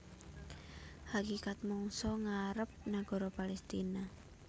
Hakikat mangsa ngarep nagara Palestina